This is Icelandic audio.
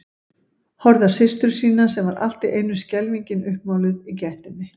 Horfði á systur sína sem var allt í einu skelfingin uppmáluð í gættinni.